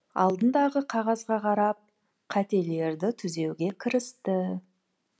алдындағы қағазға қарап қателерді түзеуге кірісті